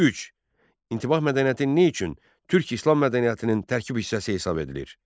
3. İntibah mədəniyyəti nə üçün Türk İslam mədəniyyətinin tərkib hissəsi hesab edilir?